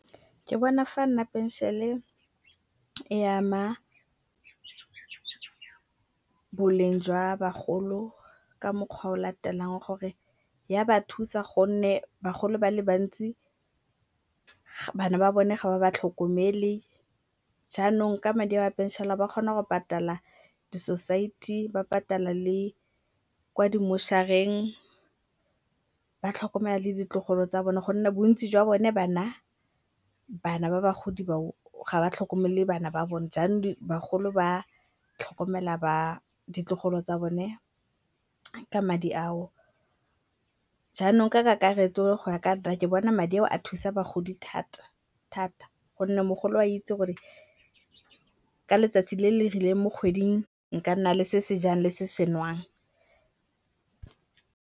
Ke bona fa nna phenšene e ama boleng jwa bagolo ka mokgwa o latelang, gore ya ba thusa gonne bagolo ba le bantsi bana ba bone ga ba ba tlhokomele. Jaanong ka madi ao a phenšene ba kgona go patala di-society, ba patala le kwa di mmošareng, ba tlhokomela le ditlogolo tsa bone gonne bontsi jwa bone bana ba bagodi bao ga ba tlhokomele bana ba bone. Jaanong bagolo ba tlhokomela ditlogolo tsa bone ka madi ao, jaanong ka kakaretso goya kanna ke bona madi ao a thusa bagodi thata-thata gonne mogolo a itse gore ka letsatsi le le rileng mo kgweding nka nna le se sejang le se se nwang.